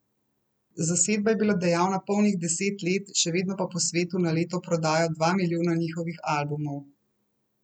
Zasedba je bila dejavna polnih deset let, še vedno pa po svetu na leto prodajo dva milijona njihovih albumov.